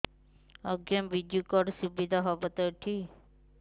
ଆଜ୍ଞା ବିଜୁ କାର୍ଡ ସୁବିଧା ହବ ତ ଏଠି